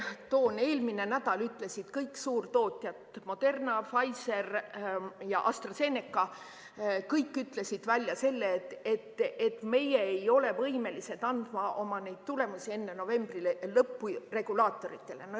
Eelmine nädal ütlesid kõik suurtootjad – Moderna, Pfizer ja AstraZeneca – välja selle, et nad ei ole võimelised andma oma töö tulemusi enne novembri lõppu regulaatoritele.